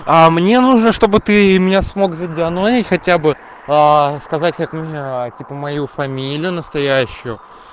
а мне нужно чтобы ты меня смог заданонить хотя бы сказать как меня типа мою фамилию настоящую